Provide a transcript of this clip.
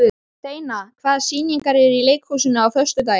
Steina, hvaða sýningar eru í leikhúsinu á föstudaginn?